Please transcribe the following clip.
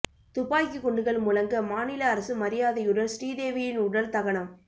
துப்பாக்கி குண்டுகள் முழங்க மாநில அரசு மரியாதையுடன் ஸ்ரீதேவியின் உடல் தகனம்